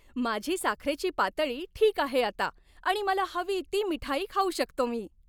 माझी साखरेची पातळी ठीक आहे आता आणि मला हवी ती मिठाई खाऊ शकतो मी.